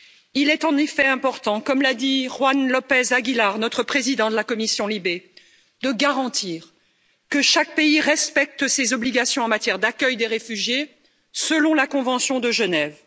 Il est en effet important, comme l'a dit Juan López Aguilar, notre président de la commission LIBE, de garantir que chaque pays respecte ses obligations en matière d'accueil des réfugiés, selon la Convention de Genève.